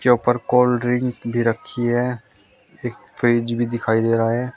ऊपर cold drink भी रखी है एक फ्रिज भी दिखाई दे रहा है।